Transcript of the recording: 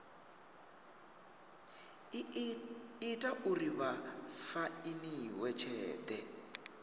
ita uri vha fainiwe tshelede